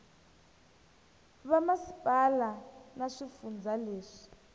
ka vamasipala na swifundza leswi